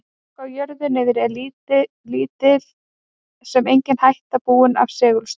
Fólki á jörðu niðri er lítil sem engin hætta búin af segulstormi.